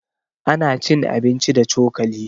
Ana cin abinci da cokali.